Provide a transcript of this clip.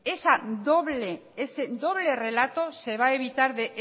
ese doble relato se va a evitar de